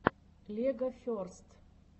легоферст